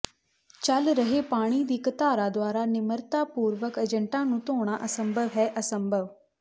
ਚੱਲ ਰਹੇ ਪਾਣੀ ਦੀ ਇੱਕ ਧਾਰਾ ਦੁਆਰਾ ਨਿਮਰਤਾ ਪੂਰਵਕ ਏਜੰਟਾਂ ਨੂੰ ਧੋਣਾ ਅਸੰਭਵ ਹੈ ਅਸੰਭਵ